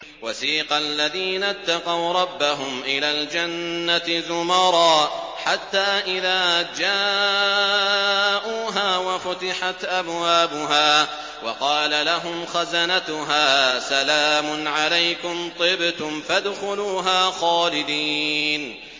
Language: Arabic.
وَسِيقَ الَّذِينَ اتَّقَوْا رَبَّهُمْ إِلَى الْجَنَّةِ زُمَرًا ۖ حَتَّىٰ إِذَا جَاءُوهَا وَفُتِحَتْ أَبْوَابُهَا وَقَالَ لَهُمْ خَزَنَتُهَا سَلَامٌ عَلَيْكُمْ طِبْتُمْ فَادْخُلُوهَا خَالِدِينَ